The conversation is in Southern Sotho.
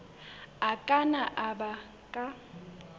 a ka nna a baka